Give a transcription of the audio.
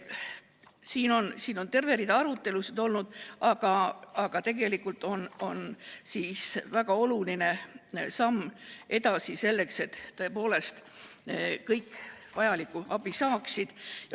Selle üle on terve rida arutelusid olnud, aga tegelikult on see väga oluline samm edasi selleks, et tõepoolest kõik vajalikku abi saaksid.